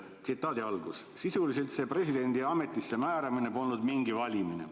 Tsitaadi algus: "Sisuliselt see presidendi ametisse määramine polnud mingi valimine.